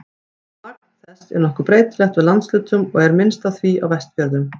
Magn þess er nokkuð breytilegt eftir landshlutum og er minnst af því á Vestfjörðum.